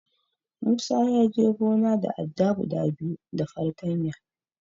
Musa ya je gona da adda guda biyu da fartanya.